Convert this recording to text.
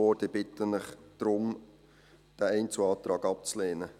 Ich bitte Sie deshalb, diesen Einzelantrag abzulehnen.